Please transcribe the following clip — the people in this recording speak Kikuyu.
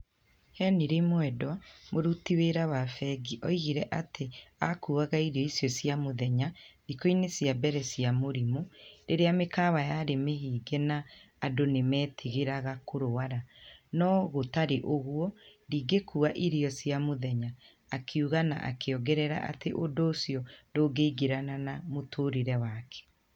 Henirĩ Mwenda, mũrutu wĩra wa bengi, augire atĩ a kuaga irio cia mũthenya thikũni cia mbere cia mũrimũ, rĩrĩa mĩkawa ya rĩ mĩhinge na andũ nĩ metigagĩra ku rwara, no " hatarĩ ũgũo ndingĩkua irio cia mũthenya", akiuga na a kĩ ogerera atĩ ũndũ ũciio ndũngĩ-igĩrana na mũtũũrĩre wake.